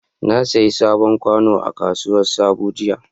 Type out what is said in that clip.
Na sayi sabon kwano a kasuwar sabo jiya.